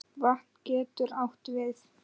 Vatn getur átt við